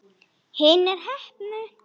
Hinir heppnu?